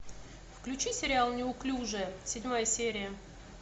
включи сериал неуклюжая седьмая серия